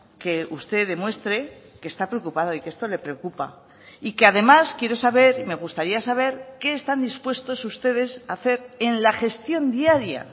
que usted demuestre que está preocupado y que esto le preocupa y que además quiero saber y me gustaría saber qué están dispuestos ustedes a hacer en la gestión diaria